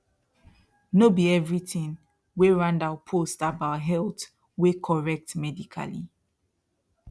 no be everything wey randall post about health wey correct medically